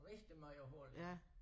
Rigtig mange huller